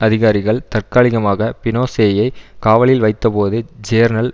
அதிகாரிகள் தற்காலிகமாக பினோசேயை காவலில் வைத்தபோது ஜேர்னல்